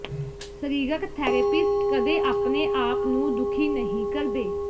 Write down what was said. ਸਰੀਰਕ ਥੈਰੇਪਿਸਟ ਕਦੇ ਆਪਣੇ ਆਪ ਨੂੰ ਦੁਖੀ ਨਹੀਂ ਕਰਦੇ